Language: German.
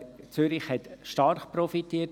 Zürich hat davon stark profitiert.